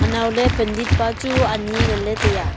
naule pandit pa chu ani nganle taiaa.